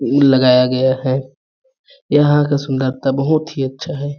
लगाया गया है यहाँ का सुंदरता बहुत ही अच्छा है।